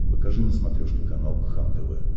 покажи на смотрешке канал кхлм тв